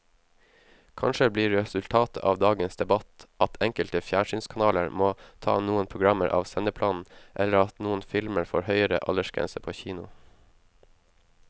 Kanskje blir resultatet av dagens debatt at enkelte fjernsynskanaler må ta noen programmer av sendeplanen eller at noen filmer får høyere aldersgrense på kino.